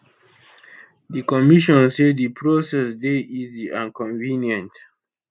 di commission say di process dey easy and convenient